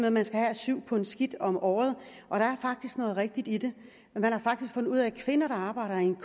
at man skal have syv pund skidt om året og der er faktisk noget rigtigt i det man har faktisk fundet ud af at kvinder der arbejder i en